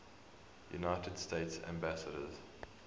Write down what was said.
united states ambassadors